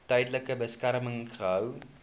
tydelike beskerming gehou